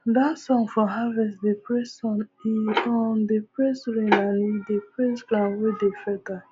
that song for harvest dey praise sun e um dey praise rain and e dey praise ground wey dey fertile